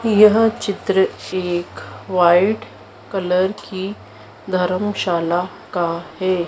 यह चित्र एक व्हाईट कलर की धर्मशाला का है।